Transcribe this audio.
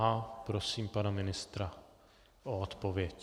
A prosím pana ministra o odpověď.